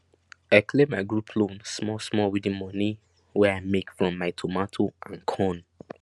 i clear my group loan small small with the moni wey i make from my tomato and corn